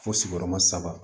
Fo sigiyɔrɔma saba